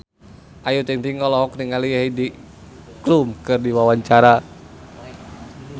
Ayu Ting-ting olohok ningali Heidi Klum keur diwawancara